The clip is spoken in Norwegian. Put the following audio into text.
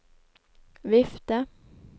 vifte